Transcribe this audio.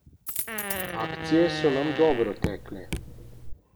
Akcije so nam dobro tekle.